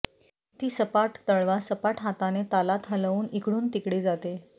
ती सपाट तळवा सपाट हाताने तालात हलवून इकडून तिकडे जाते